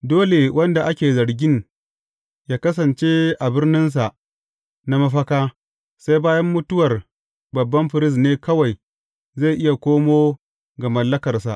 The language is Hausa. Dole wanda ake zargin, yă kasance a birninsa na mafaka sai bayan mutuwa babban firist; sai bayan mutuwar babban firist ne kawai zai iya komo ga mallakarsa.